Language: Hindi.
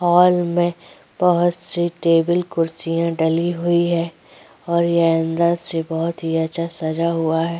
हाल में बहुत सी टेबल कुर्सीयाँ डली हुई हैं और ये अंदर से बहोत ही अच्छा सजा हुआ है।